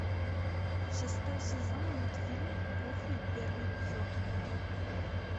шестой сезон мультфильм кухня первый эпизод